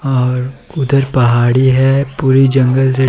और उधर पहाड़ी है पूरी जंगल --